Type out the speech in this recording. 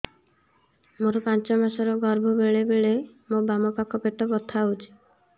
ମୋର ପାଞ୍ଚ ମାସ ର ଗର୍ଭ ବେଳେ ବେଳେ ମୋ ବାମ ପାଖ ପେଟ ବଥା ହଉଛି